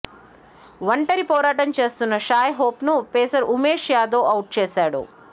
ఒంటరి పోరాటం చేస్తున్న షాయ్ హోప్ను పేసర్ ఉమేష్ యాదవ్ ఔట్ చేశాడు